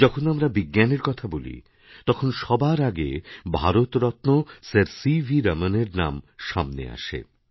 যখন আমরা বিজ্ঞানের কথা বলি তখন সবার আগে ভারতরত্ন স্যার সি ভিরমনের নাম সামনে আসে